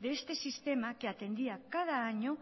de este sistema que atendía cada año